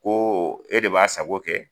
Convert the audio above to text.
Ko e de b'a sago kɛ